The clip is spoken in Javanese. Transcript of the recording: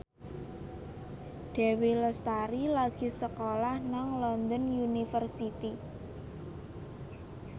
Dewi Lestari lagi sekolah nang London University